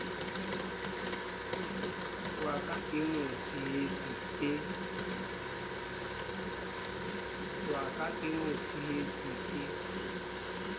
wa ka ke motshehetsi e